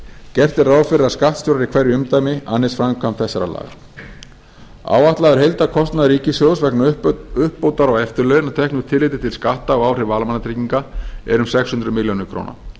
gert er ráð fyrir að skattstjórar í hverju umdæmi annist framkvæmd þessara laga áætlaður heildarkostnaður ríkissjóðs vegna uppbótar á eftirlaun að teknu tilliti til skatta og áhrifa á almannatryggingar er um sex hundruð milljónir króna